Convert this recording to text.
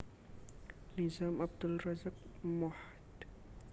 Nizam Abdul Razak Mohd